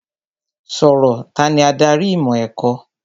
Sọ̀rọ̀! Tani adarí ìmọ̀ ẹ̀kọ́?